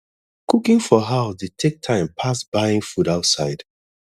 cooking for house dey take time pass buying food outside